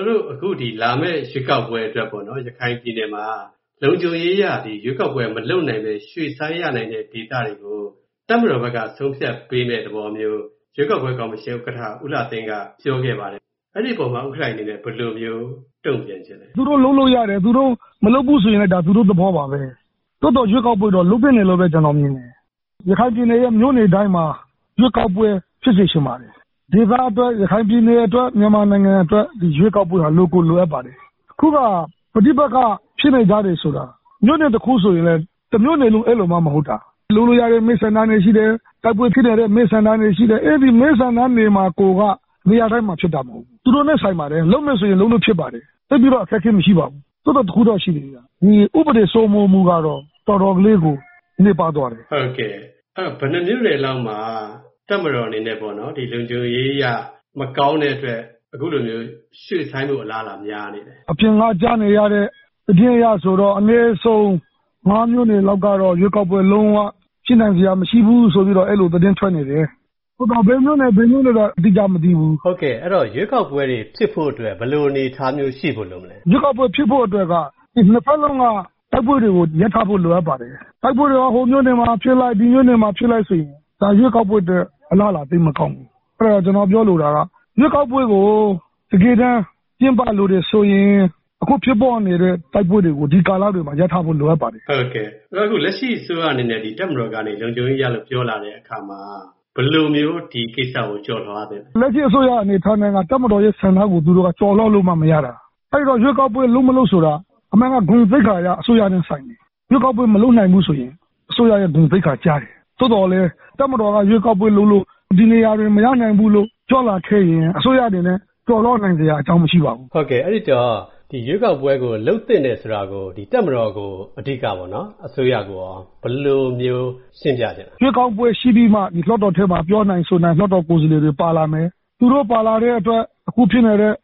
ော်တို့ ဒီလာမည့် ရွေးကောက်ပွဲအတွက်ပေါ့နော် ရခိုင်ပြည်နယ်မှာ လုံခြုံရေးအရ ရွေးကောက်ပွဲမလုပ်နိုင်ပဲ ရွှေ့ဆိုင်းရတဲ့ ဒေသတွေကို တပ်မတော်ဘက်က ဆုံးဖြတ်ပေးမယ့် သဘောမျိုး ရွေးကောက်ပွဲကော်မရှင် ဥက္ကဋ္ဌ ဦးလှသိန်းက ပြောခဲ့ပါတယ် အဲဒီအပေါ်မှာ ဥက္ကဌကြီးအနေနဲ့ ဘယ်လိုမျိုး တုံ့ပြန်ချင်ပါသလဲ။ သူတို့လုပ်လို့ရတယ် သူတို့မလုပ်ဘူးဆိုရင်လည်း သူတို့ သဘောပါပဲ။ သို့သော်ရွေးကောက်ပွဲကတော့ လုပ်သင့်တယ်လို့ ကျနော်မြင်ပါတယ်။ ရခိုင်ပြည်နယ်မြို့နယ်တိုင်းမှာ ရွေးကောက်ပွဲ ဖြစ်စေချင်ပါတယ်။ ဒေသအတွက် ရခိုင်ပြည်နယ်အတွက်၊ မြန်မာပြည်အတွက် ရွေးကောက်ပွဲက လိုကိုလိုပါတယ်။ အခုက ပဋိပက္ခဖြစ်နေတယ်ဆိုတာက မြို့နယ် တခုဆိုရင်လည်း တမြို့နယ်လုံး အဲလိုမှ မဟုတ်တာ ၊ လုပ်လို့ရတဲ့ မဲဆန္ဒနယ်ရှိတယ်၊ တိုက်ပွဲဖြစ်နေတဲ့ မဲဆန္ဒနယ်ရှိတယ် အဲဒီမဲဆန္ဒနယ်မှာကိုယ်က နေရာတိုင်းမှာ ဖြစ်တာမဟုတ်ဘူး။ သူတို့နဲ့ ဆိုင်ပါတယ် လုပ်မယ်ဆိုရင် လုပ်လို့ ဖြစ်ပါတယ်။ သိပ်ပြီးတော့ အခက်အခဲမရှိပါဘူး သို့သော် တခုတော့ ရှိတယ်ဗျ ဥပဒေစိုးမိုးမှုကတော့ တော်တော်လေးကို နည်းပါးသွားတယ်။ အဲဒီတော့ ဘယ်နှစ်မြို့နယ်လောက်မှာ တပ်မတော်အနေနဲ့ တပ်မတော်အနေနဲ့ လုံခြုံရေးအရ မကောင်းတဲ့အတွက် အခုလို ရွှေ့ဆိုင်းဖို့ အလားအလာများနေပါသလဲ။ အပြင်မှာ ကြားနေရတဲ့ သတင်းအရဆိုရင်တော့ အနည်းဆုံး ၅ မြို့နယ်လောက်ကတော့ ရွေးကောက်ပွဲ လုံး၀ ဖြစ်နိုင်စရာမရှိဘူးဆိုပြီးတော့ အဲလိုသတင်း ထွက်နေတယ်။ ဘယ်မြို့နယ်တွေဆိုတာကတော့ အတိအကျမသိသေးဘူး။ အဲဒီတော့ ရွေးကောက်ပွဲတွေ ဖြစ်ဖို့အတွက် ဘယ်လိုအနေအထားမျိုးတွေ ရှိဖို့ လိုမလဲ။ ရွေးကောက်ပွဲတွေ ဖြစ်ဖို့အတွက် နှစ်ဖက်စလုံးက တိုက်ပွဲတွေကို ရပ်ဖို့လိုပါတယ်။ တိုက်ပွဲတွေက ဟိုမြို့နယ်မှာ ဖြစ်လိုက် ဒီမြို့နယ်မှာ ဖြစ်လိုက်ဆိုရင် ဒါရွေးကောက်ပွဲအတွက် အလားအလာ သိပ်မကောင်းဘူး။ အဲဒီတော့ ကျနော်ပြောလိုတာက ရွေးကောက်ပွဲကို တကယ်တမ်း ကျင်းပလိုတယ်ဆိုရင် အခုဖြစ်ပေါ်နေတဲ့ တိုက်ပွဲတွေကို ဒီကာလတွေမှာ ရပ်ထားဖို့ လိုအပ်ပါတယ်။ လက်ရှိအစိုးရအနေနဲ့ တပ်မတော်ကနေ လုံခြုံရေးအရ ပြောလာတဲ့အခါမှာ ဘယ်လိုမျိုး ဒီကိစ္စကို ကျော်လွှားသင့်သလဲ။ လက်ရှိအစိုးရအနေနဲ့ တပ်မတော်ရဲ့ ဆန္ဒကို ကျော်လွှားလို့ မှ မရတာ။ အဲဒီတော့ ရွေးကောက်ပွဲ လုပ်မလုပ်ဆိုတာက အမှန်က ဂုဏ်သိက္ခာအရတော့ အစိုးရနဲ့ ဆိုင်တယ် ။ ရွေးကောက်ပွဲမလုပ်နိုင်ရင် အစိုးရ ဂုဏ်သိက္ခာ ကျတယ်။ သို့သော် တပ်မတော်က ရွေးကောက်ပွဲ ဒီနေရာတွေ လုပ်လို့ မရဘူးလို့ ပြောလာခဲ့ရင် အစိုးရအနေနဲ့ကျော်လွှားနိုင်စရာ အကြောင်းမရှိပါဘူး။ အဲဒီတော့ ရွေးကောက်ပွဲကို လုပ်သင့်တယ်ဆိုတာကို တပ်မတော်ကို အဓိကပေါ့နော် အစိုးရကိုရော ဘယ်လိုမျိုး ရှင်းပြသင့်သလဲ။ ရွေးကောက်ပွဲရှိပြီးမှ လွှတ်တော်ထဲမှာ ပြောနိုင်ဆိုနိုင် လွှတ်တော်ကိုယ်စားလှယ်တွေ ပါလာမယ်။ သူတို့ပါလာတဲ့အတွက် အခုဖြစ်နေတဲ့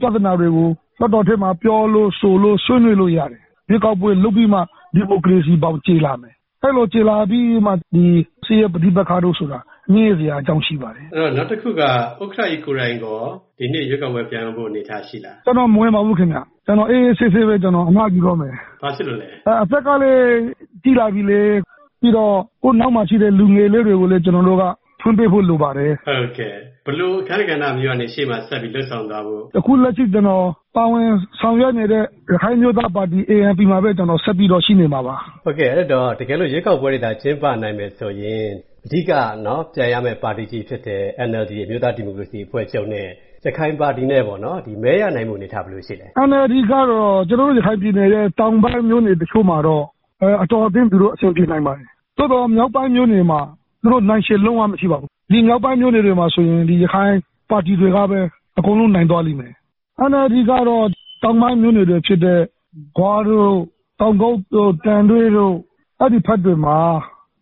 ပြဿနာတွေကို လွှတ်တော်ထဲမှာ ပြောလို့ ဆိုလို့ ဆွေးနွေးလို့ရတယ်။ ရွေးကောက်ပွဲလုပ်ပြီးမှ ဒီမိုကရေစီဘောင် ကျယ်လာမယ်။ အဲလိုကျယ်လာပြီးမှ ဒီ စစ်ရေး ပဋိပက္ခတို့ဆိုတာက ညှိစရာအကြောင်းရှိပါတယ်။ နောက်တခုက ဥက္ကဌကြီး ကိုယ်တိုင်ရော ဒီနှစ်ရွေးကောက်ပွဲ ပြိုင်ဖို့ ရှိပါသလား ။ ကျနော်မဝင်ပါဘူးခင်ဗျ။ ကျနော်အေးအေးဆေးဆေးပဲ အနားယူပါတော့မယ်။ ဘာဖြစ်လို့လဲ။ အသက်ကလည်း ကြီးလာပြီလေ ၊ ဆိုတော့ ကိုယ့်နောက်မှာရှိတဲ့ လူငယ်လေးတွေကိုလည်း ကျနော်တို့က အခွင့်ပေးဖို့ လိုပါတယ်။ ဆိုတော့ ဘယ်လို အခန်းကဏ္ဍမျိုးကနေ ရှေ့မှာဆက်ပြီး လုပ်ဆောင်သွားဖို့ရှိလဲ။ အခုလက်ရှိကျနော် ပါဝင်ဆောင်ရွက်နေတဲ့ ရခိုင်အမျိုးသားပါတီ ANP မှာပဲ ဆက်ပြီးတော့ ရှိနေမှာပါ။ အဲဒီတော့ တကယ်လို့ ရွေးကောက်ပွဲတွေသာ ကျင်းပနိုင်မယ်ဆိုရင် အဓိက ပြိုင်ရမယ့် ပါတီကြီးဖြစ်တဲ့ NLD အမျိုးသားဒီမိုကရေစီအဖွဲ့ချုပ်နဲ့ ရခိုင်ပါတီနဲ့ မဲရနိုင်ဖို့အနေအထား ဘယ်လိုရှိသလဲ။ NLD ကတော့ ကျနော်တို့ ရခိုင်ပြည်နယ်ရဲ့ တောင်ပိုင်းမြို့နယ်တချို့မှာတော့ အတော်အသင့် သူတို့ အဆင်ပြေနိုင်ပါတယ်။ သို့သော် မြောက်ပိုင်းမြို့နယ်မှာ သူတို့ နှိုင်းယှဉ်လို့ မရပါဘူး။ ဒီမြောက်ပိုင်းမြို့နယ်တွေမှာဆိုရင် ဒီရခိုင် ပါတီတွေကပဲ အကုန်လုံး နိုင်သွားလိမ့်မယ် ။ NLD ကတော့ တောင်ပိုင်းမြို့နယ်တချို့ဖြစ်တဲ့ ဂွတို့၊ သံတွဲတို့ အဲဒီဘက်တွေမှာ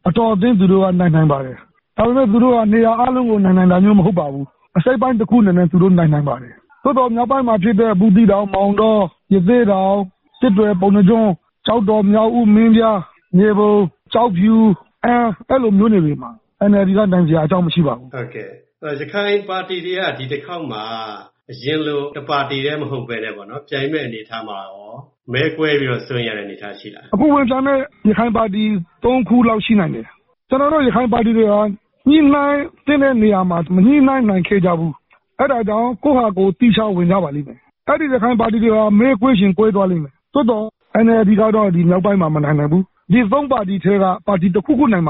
အတော်အသင့် သူတို့ နိုင်နိုင်ပါတယ်။ ဒါပေမယ့် သူတို့ နေရာအားလုံးကို နိုင်တာမျိုးမဟုတ်ပါဘူး။ အစိတ်အပိုင်း တခုအနေနဲ့ နိုင်နိုင်ပါတယ်။ သို့သော် မြောက်ပိုင်းမှာဖြစ်တဲ့ ဘူးသီးတောင် ၊မောင်တော၊ ရသေ့တောင်၊ စစ်တွေ ၊ ပုဏ္ဏားကျွန်း၊ ကျောက်တော်၊ မြောက်ဦး၊ မင်းပြား၊ မြေပုံ၊ ကျောက်ဖြူ၊ အန်းမြို့နယ်တွေမှာ NLD နိုင်စရာအကြောင်းမရှိပါဘူး။ ရခိုင်ပါတီတွေက ဒီတခေါက်မှာ အရင်လို တပါတီတည်းမဟုတ်ပဲနဲ့ ပြိုင်မယ့်အနေအထားမှာ မဲကွဲပြီးတော့ စိုးရိမ်ရတဲ့အနေအထားရှိလား။ အခု ဝင်ပြိုင်မယ့် ရခိုင်ပါတီ ၃ ခုလောက်ရှိနိင်တယ်။ ကျနော်တို့ ရခိုင်ပါတီတွေဟာ ညှိနှိုင်းသင့်တဲ့နေရာမှာ မညှိနှိုင်းနိုင်ခဲ့ကြဘူး။ အဲဒါကြောင့် ကိုယ့်ဟာကိုယ် သီးခြားဝင်ကြပါလိမ့်မယ်။ အဲဒီရခိုင်ပါတီတွေဟာ မဲကွဲချင်ကွဲသွားလိမ့်မယ်။ သို့သော် NLD ကတော့ ဒီနောက်ပိုင်း မနိုင်နိုင်ဘူး။ ဒီ ၃ ပါတီထဲက ပါတီ တခုခု နိုင်မှ